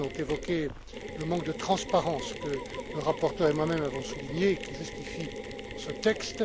Mann, ont évoqué le manque de transparence que le rapporteur et moi même avons souligné et qui justifie ce texte.